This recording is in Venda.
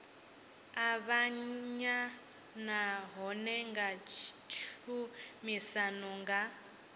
avhanya nahone nga tshumisano na